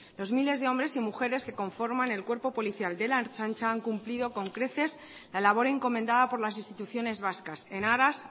los miles de hombres y mujeres que conforman el cuerpo policial de la ertzaintza han cumplido con creces la labor encomendada por las instituciones vascas en aras